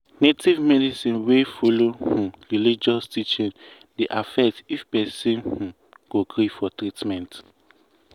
native medicine wey follow um religious teaching dey affect if person um go gree for treatment.